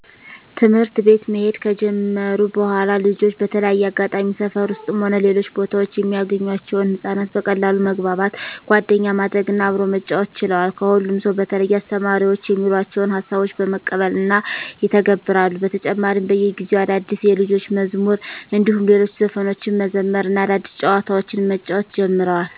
ትምህርት ቤት መሄድ ከጀመሩ በኃላልጆች በተለያየ አጋጣሚ ሰፈር ውስጥም ሆነ ሌሎች ቦታወች የሚያገኟቸውን ህፃናት በቀላሉ መግባባት፣ ጓደኛ ማድረግ እና አብሮ መጫወት ችለዋል። ከሁሉም ሰው በተለየ አስተማሪዎች የሚሏቸውን ሀሳቦች በመቀበል እና ይተገብራሉ። በተጨማሪም በየጊዜው አዳዲስ የልጆች መዝሙር እንዲሁም ሌሎች ዘፈኖችን መዘመር እና አዳዲስ ጨዋታዎችን መጫወት ጀምረዋል።